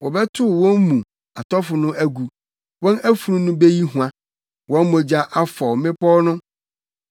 Wɔbɛtow wɔn mu atɔfo no agu, wɔn afunu no beyi hua; wɔn mogya afɔw mmepɔw no.